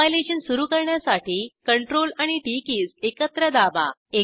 compilation सुरू करण्यासाठी CTRL आणि टीटी कीज एकत्र दाबा